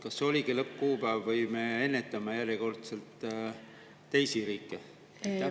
Kas see oligi lõppkuupäev või me ennetame järjekordselt teisi riike?